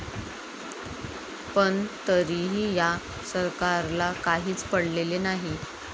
पण तरीही या सरकारला काहीच पडलेले नाही.